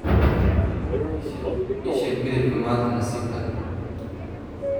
ii sheeg midabka maanta nasiibka leh